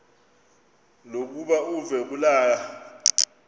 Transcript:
lokuba uve kulaa